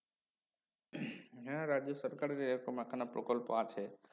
হ্যা রাজ্য সরকারের এ রকম একখানা প্রকল্প আছে